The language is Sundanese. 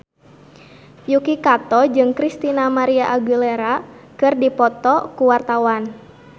Yuki Kato jeung Christina María Aguilera keur dipoto ku wartawan